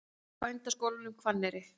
Bændaskólanum Hvanneyri